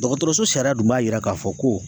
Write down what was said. Dɔgɔtɔrɔso sariya dun b'a yira k'a fɔ ko